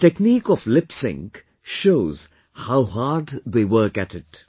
Their technique of Lip Sync shows how hard they work at it